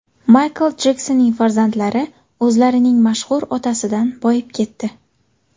Maykl Jeksonning farzandlari o‘zlarining mashhur otasidan boyib ketdi.